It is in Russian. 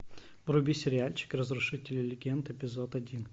вруби сериальчик разрушители легенд эпизод один